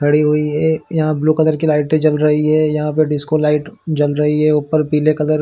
खड़ी हुई है यहाँ ब्लू कलर की लाइटें जल रही है यहाँ पर डिस्को लाइट जल रही है ऊपर पीले कलर --